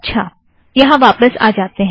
अच्छा यहाँ वापस आ जाते हैं